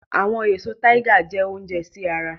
Awọn eso Tiger jẹ ounjẹ si ara